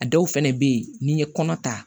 A dɔw fɛnɛ be yen n'i ye kɔnɔ ta